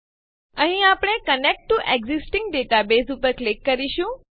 અહીં આપણે connect to an existing databaseઉપર ક્લિક કરીશું